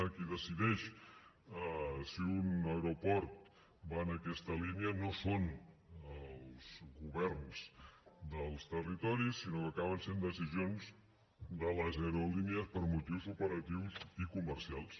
qui decideix si un aeroport va en aquesta línia no són els governs dels territoris sinó que acaben sent decisions de les aerolínies per motius operatius i comercials